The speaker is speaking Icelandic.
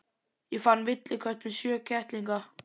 Ég fann villikött með sjö kettlinga.